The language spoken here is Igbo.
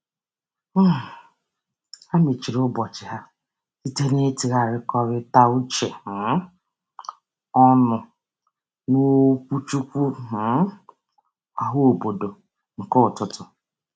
um Ha mechiri ụbọchị ha site n'ịtụgharịkọta uche um ọnụ n'okwuchukwu um ọhaobodo nke ụtụtụ.